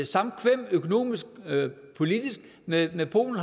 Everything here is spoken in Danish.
samkvem økonomisk politisk med med polen